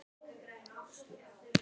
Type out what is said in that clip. sagði hún ofur rólega.